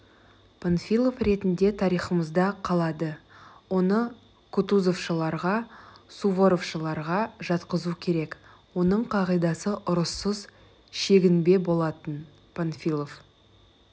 панфилов ретінде тарихымызда қалады оны кутузовшыларға суворовшыларға жатқызу керек оның қағидасы ұрыссыз шегінбе болатын панфилов